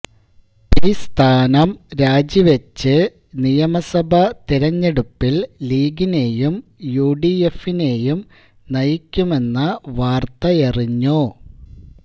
P സ്ഥാനം രാജിവച്ച് നിയമസഭ തെരെഞ്ഞെടുപ്പില് ലീഗിനേയും യുഡിഎഫിനേയും നയിക്കുമെന്ന വാര്ത്തയറിഞ്ഞു